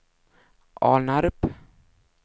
Alnarp